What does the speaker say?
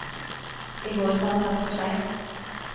I går sa han takk for seg.